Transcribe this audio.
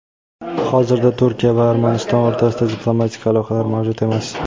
Hozirda Turkiya va Armaniston o‘rtasida diplomatik aloqalar mavjud emas.